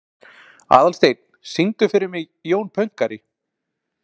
Aðalsteinn, syngdu fyrir mig „Jón Pönkari“.